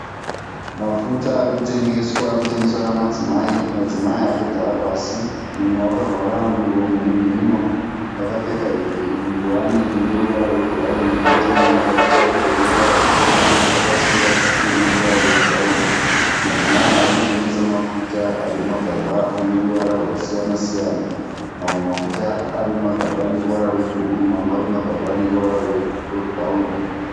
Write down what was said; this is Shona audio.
Mafuta arikutengeswa, arikutengeswa nemadzimai, madzimai aya akagara pasi , mumwe akavhara muromo nemhuno akapfeka nguwani ineruvara rwebhurauni poita mumwe akapfeka hembe ineruvara rwutema akasungwa dhuku rine ruvara rwe bhurauni. Madzimai aya arikutengesa mafuta arimumagaba aneruvara rwakasiyana siyana. Mamwe ari mumagaba aneruvara rwe bhuruu, mamwe arimumagaba aneruvara rwebhurauni.